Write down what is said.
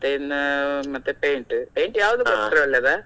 ಮತ್ತೆ ಇನ್ನ paint, paint ಕೊಟ್ರೆ ಒಳ್ಳೆದ?